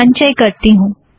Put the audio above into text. संचय करती हूँ